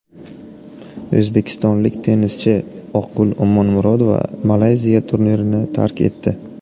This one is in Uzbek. O‘zbekistonlik tennischi Oqgul Omonmurodova Malayziya turnirini tark etdi.